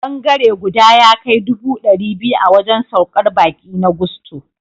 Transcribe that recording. Bangare guda ya kai dubu ɗari biyu a wajen saukar baƙi na Gusto.